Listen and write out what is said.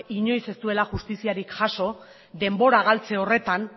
inoiz ez duela justiziarik jaso denbora galtze horretan